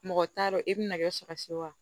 Mɔgɔ t'a dɔn e bɛna kɛ saba se wa